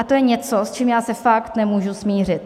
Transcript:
A to je něco, s čím já se fakt nemůžu smířit.